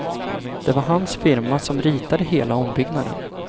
Det var hans firma som ritade hela ombyggnaden.